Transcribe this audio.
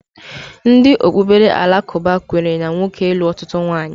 Ndị okpukpere alakụba kwenyere na nwoke ịlụ ọtụtụ ụmụnwaanyị